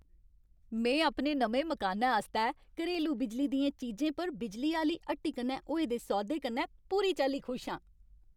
में अपने नमें मकानै आस्तै घरेलू बिजली दियें चीजें पर बिजली आह्‌ली हट्टी कन्नै होए दे सौदे कन्नै पूरी चाल्ली खुश आं।